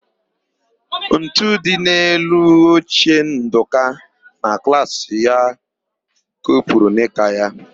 Ntu dị n'elu oche Ndụka na klaasị ya kopuru nịka ya.